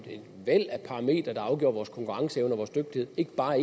væld at parametre der afgjorde vores konkurrenceevne og vores dygtighed ikke bare